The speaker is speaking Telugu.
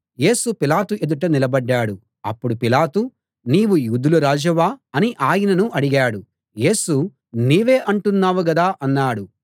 యేసు పిలాతు ఎదుట నిలబడ్డాడు అప్పుడు పిలాతు నీవు యూదుల రాజువా అని ఆయనను అడిగాడు యేసు నీవే అంటున్నావు గదా అన్నాడు